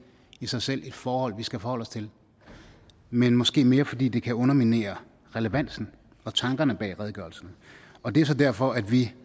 i sig selv et forhold vi skal forholde os til men måske mere fordi det kan underminere relevansen og tankerne bag redegørelsen og det er så derfor at vi